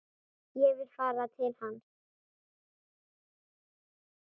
Ég vil fara til hans.